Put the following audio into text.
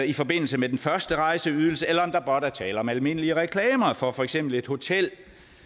i forbindelse med den første rejseydelse eller om der blot er tale om almindelige reklamer for for eksempel et hotel